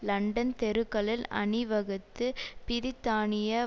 London தெருக்களில் அணிவகுத்து பிரித்தானிய